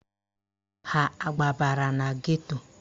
Ha agbabara na geto?